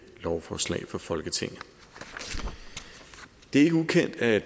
lovforslag for folketinget det er ikke ukendt at